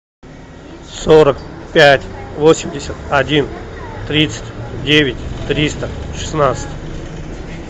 сорок пять восемьдесят один тридцать девять триста шестнадцать